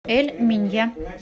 эль минья